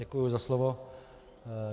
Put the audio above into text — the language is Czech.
Děkuji za slovo.